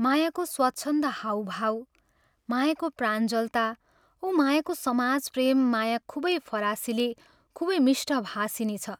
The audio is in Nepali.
मायाको स्वच्छन्द हाव भाव, मायाको प्राञ्जलता औ मायाको समाज प्रेम माया खूबै फरासिली खूबै मिष्ठभाषिणी छ